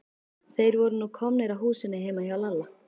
Þeir voru nú komnir að húsinu heima hjá Lalla.